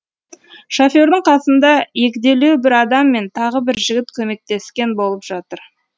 шофердің қасында егделеу бір адам мен тағы бір жігіт көмектескен болып жатыр